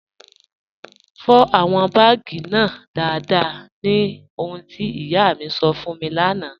Fọ awọn baágì náà daradara ní ọ̀hùn ti iyà mi sọ́ fún mi lána.